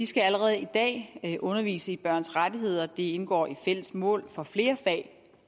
skal allerede i dag undervise i børns rettigheder det indgår i fælles mål for flere fag